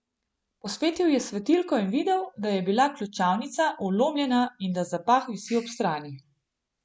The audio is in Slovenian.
Posvetil je s svetilko in videl, da je bila ključavnica vlomljena in da zapah visi ob strani.